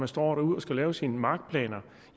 står derude og skal lave sine markplaner